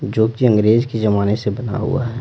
जो कि अंग्रेज के जमाने से बना हुआ है।